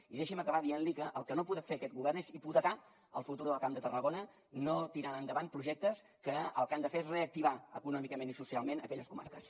i deixi’m acabar dient li que el que no podrà fer aquest govern és hipotecar el futur del camp de tarragona no tirant endavant projectes que el que han de fer és reactivar econòmicament i socialment aquelles comarques